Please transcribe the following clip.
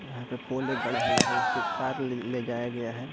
यहाँ पे पोल एक गड़ा हुआ है उससे तार ले लेजाया गया है।